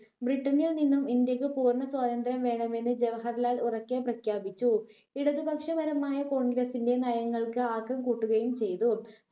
ബ്രിട്ടണിൽ നിന്നും ഇന്ത്യക്ക് പൂർണ സ്വാതന്ത്ര്യം വേണമെന്ന് ജവഹർലാൽ ഉറക്കെ പ്രഖ്യാപിച്ചു ഇടതുപക്ഷപരമായ congress ന്റെ നയങ്ങൾക്ക് ആക്കം കൂട്ടുകയും ചെയ്തു